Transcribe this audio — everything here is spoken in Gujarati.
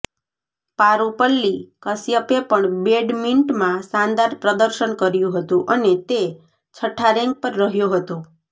પારૂપલ્લી કશ્યપે પણ બેડમિન્ટમાં શાનદાર પ્રદર્શન કર્યું હતું અને તે છઠ્ઠા રેન્ક પર રહ્યો હતો